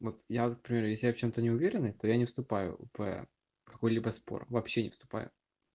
вот я например если я в чём-то не уверенный то я не вступаю в п какой-либо спор вообще не вступаю